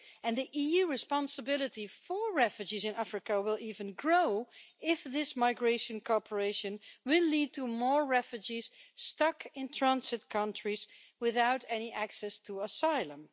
The EU's responsibility for refugees in Africa will even grow if this migration cooperation leads to more refugees stuck in transit countries without any access to asylum.